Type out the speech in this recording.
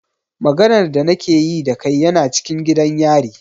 Maganar da na ke yi da kai yana cikin gidan yari.